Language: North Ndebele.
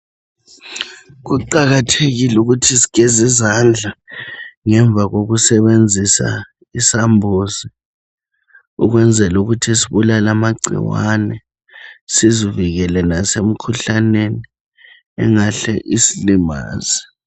Kuqakathekile ukuthi sigeze izandla ngemva kokusebenzisa isambuzi, ukwenzela ukuthi sibulale amagcikwane sizivikele lasemikhuhlaneni engahle isilimaze.